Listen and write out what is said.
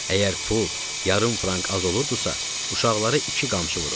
Əgər pul yarım frank az olurduzsa, uşaqlara iki qamçı vurur.